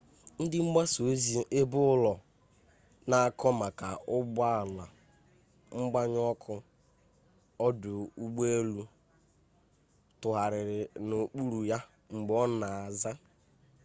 ndị mgbasa ozi ebeụlọ na-akọ maka ụgbọ ala mgbanyụ ọkụ ọdụ ụgbọ elu tụgharịrị n'okpuru ya mgbe ọ na-aza